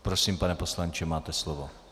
Prosím, pane poslanče, máte slovo.